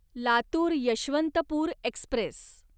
Latur Yeshwantpur Express